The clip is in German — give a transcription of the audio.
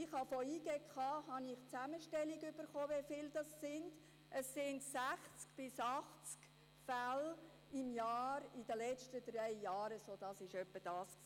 Von der JGK habe ich die Zusammenstellung darüber erhalten, wie viele es sind: 60 bis 80 Fälle jährlich in den letzten drei Jahren – das war es etwa.